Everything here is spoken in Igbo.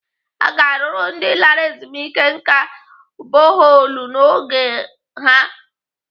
Aga arụrụ ndị lara ezumike nká boholu n'ógbè ha?